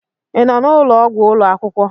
Ị nọ n'ụlọ ọgwụ ụlọ akwụkwọ?